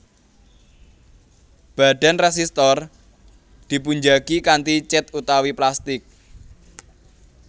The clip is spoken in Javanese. Badan résistor dipunjagi kanthi cèt utawi plastik